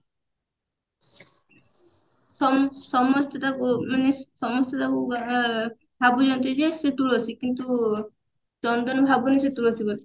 ସମ ସମସ୍ତେ ତାକୁ ମାନେ ସମସ୍ତେ ତାକୁ ଭା ଭାବୁଛନ୍ତି ଯେ ସେ ତୁଳସୀ କିନ୍ତୁ ଚନ୍ଦନ ଭାବୁନି ସେ ତୁଳସୀ ବୋଲି